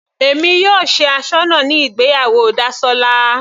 Èmi yóò ṣe asọ́nà ní ìgbéyàwó Dasola.